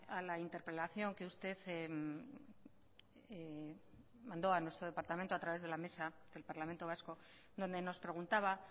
a la interpelación que usted mandó a nuestro departamento a través de la mesa del parlamento vasco donde nos preguntaba